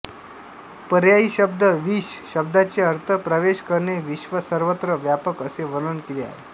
पर्यायीशब्द विश शब्दाचे अर्थ प्रवेश करणे विश्व सर्वत्र व्यापक असे वर्णन केले आहे